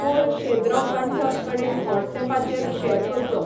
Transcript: code शेद्रो कंठक कडेन व्हॉट्सऍपाचेर शेअर करचो